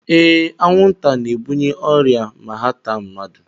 Ee, anwụnta na-ebunye ọrịa ma ha taa mmadụ